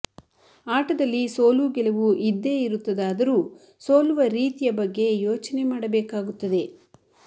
ಆಟದಲ್ಲಿ ಸೋಲು ಗೆಲುವು ಇದ್ದೇ ಇರುತ್ತದಾದರೂ ಸೋಲುವ ರೀತಿಯ ಬಗ್ಗೆ ಯೋಚನೆ ಮಾಡಬೇಕಾಗುತ್ತದೆ